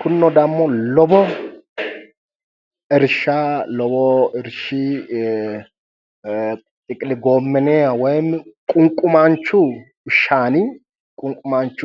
kunino dammo lowo irsha lowo irshi ee xiqili goomene woyimi ququmadu